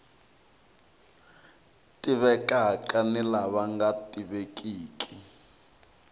tivekaka ni lava nga tivekiki